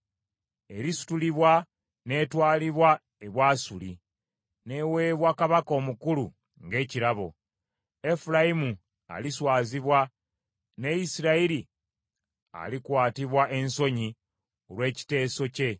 Erisutulibwa n’etwalibwa e Bwasuli n’eweebwa kabaka omukulu ng’ekirabo. Efulayimu aliswazibwa ne Isirayiri alikwatibwa ensonyi olw’ekiteeso kye.